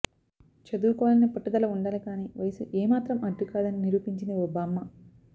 చదువుకోవాలనే పట్టుదల ఉండాలి కానీ వయస్సు ఏ మాత్రం అడ్డు కాదని నిరూపించింది ఓ బామ్మ